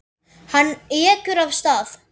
Hann ekur af stað.